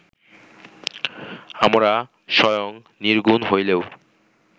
আমরা স্বয়ং নির্গুণ হইলেও